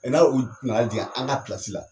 n'a u d nana jigin an ka la